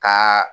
Ka